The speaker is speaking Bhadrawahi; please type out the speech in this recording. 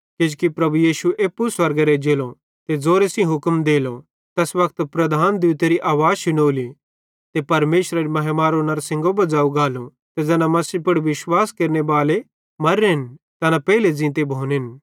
किजोकि प्रभु यीशु एप्पू स्वर्गेरां एज्जेलो ते ज़ोरे सेइं हुक्म देलो तैस वक्ते प्रधान दूतेरी आवाज़ शुनोली ते परमेशरेरी महिमारो नड़शिनगो बज़ो गालो ते ज़ैना मसीह पुड़ विश्वास केरनेबाले मां मर्रन तैना पेइले ज़ींते भोनेन